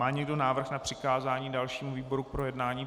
Má někdo návrh na přikázání dalšímu výboru k projednání?